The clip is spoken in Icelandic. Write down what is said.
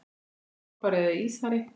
Er það toppari eða ísari?